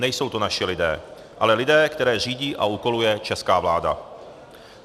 Nejsou to naši lidé, ale lidé, které řídí a úkoluje česká vláda.